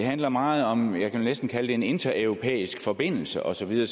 det handler meget om hvad jeg næsten vil kalde en intereuropæisk forbindelse og så videre